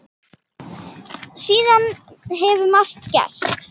Síðan hefur margt gerst.